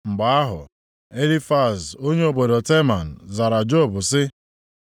Mgbe ahụ, Elifaz onye obodo Teman zara Job sị: